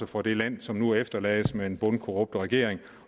for det land som nu efterlades med en bundkorrupt regering